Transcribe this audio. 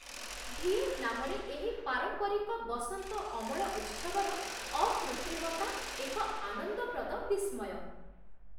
ଭିଏତନାମରେ ଏହି ପାରମ୍ପରିକ ବସନ୍ତ ଅମଳ ଉତ୍ସବର ଅକୃତ୍ରିମତା ଏକ ଆନନ୍ଦପ୍ରଦ ବିସ୍ମୟ।